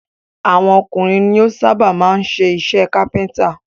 Àwọn ọkùnrin ni ó sábà máa ń ṣe iṣẹ́ kápẹ́ntà